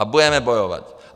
A budeme bojovat.